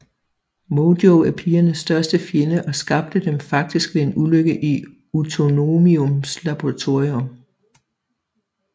Mojo er pigernes største fjende og skabte dem faktisk ved en ulykke i Utoniums laboratorium